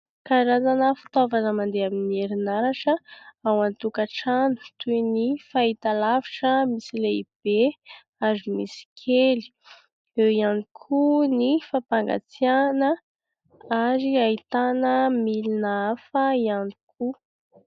Karazana fitaovana mandeha amin'ny herinaratra ao an-tokatrano, toy ny fahitalavitra misy lehibe ary misy kely, eo ihany koa ny fampangatsiahana ary ahitana milina hafa ihany koa.